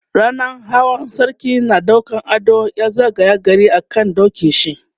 rannan Hawa sarki na ɗaukan ado ya zagaye gari a kan dokin shi